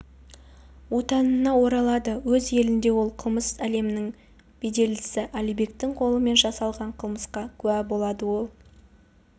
отанына оралады өз елінде ол қылмыс әлемінің беделдісі алибектің қолымен жасалған қылмысқа куә болады ол